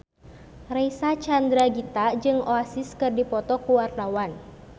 Reysa Chandragitta jeung Oasis keur dipoto ku wartawan